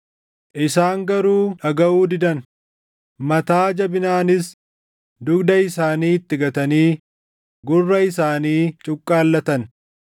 “Isaan garuu dhagaʼuu didan; mataa jabinaanis dugda isaanii itti gatanii gurra isaanii cuqqaallatan.